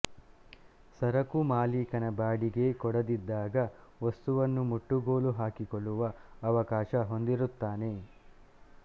ಸರಕು ಮಾಲೀಕ ಬಾಡಿಗೆ ಕೊಡದಿದ್ದಾಗ ವಸ್ತುವನ್ನು ಮುಟ್ಟುಗೋಲು ಹಾಕಿಕೊಳ್ಳುವ ಅವಕಾಶ ಹೊಂದಿರುತ್ತಾನೆ